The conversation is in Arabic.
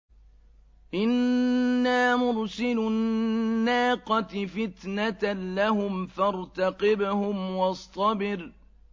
إِنَّا مُرْسِلُو النَّاقَةِ فِتْنَةً لَّهُمْ فَارْتَقِبْهُمْ وَاصْطَبِرْ